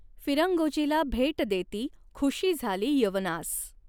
फिरंगोजीला भेट देती खुषी झाली यवनास।